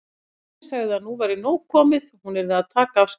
Katrín sagði að nú væri nóg komið, hún yrði að taka af skarið.